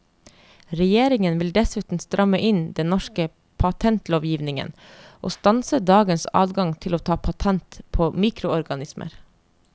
Regjeringen vil dessuten stramme inn den norske patentlovgivningen, og stanse dagens adgang til å ta patent på mikroorganismer.